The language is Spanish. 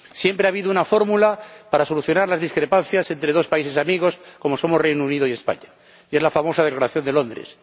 Siempre ha habido una fórmula para solucionar las discrepancias entre dos países amigos como somos el Reino Unido y España y es la famosa Declaración de Londres.